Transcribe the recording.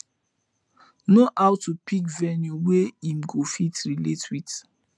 no aw to pick venue wey em go fit relate wit